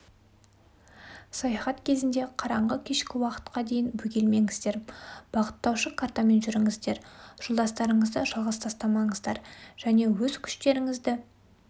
саяхат кезінде қараңғы кешкі уақытқа дейін бөгелмеңіздер бағыттаушы картамен жүріңіздер жолдастарыңызды жалғыз тастамаңыздар және өз күштеріңізді